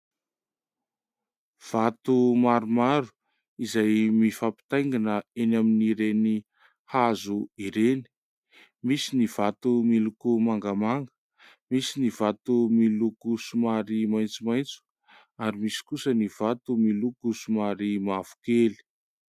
Vato maromaro izay mifampitaingina eny amin'ireny hazo oreny. Misy ny vato miloko mangamanga, misy ny vato miloko somary maintsomaintso ary misy kosa ny vato miloko somary mavokely.